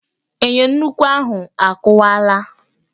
Enyo nnukwu ahụ a kụwaala